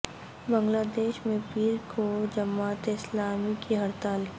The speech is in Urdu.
بنگلہ دیش میں پیر کو جماعت اسلامی کی ہڑتال